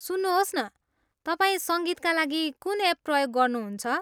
सुन्नुहोस् न, तपाईँ सङ्गीतका लागि कुन एप प्रयोग गर्नुहुन्छ?